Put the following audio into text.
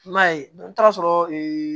I m'a ye n taara sɔrɔ